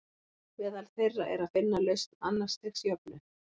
Meðal þeirra er að finna lausn annars stigs jöfnu.